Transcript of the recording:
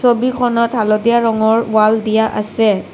ছবিখনত হালধীয়া ৰঙৰ ৱাল দিয়া আছে।